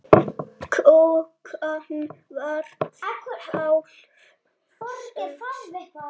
Klukkan varð hálf sex.